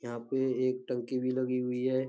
यहाँ पे एक टंकी भी लगी हुई है।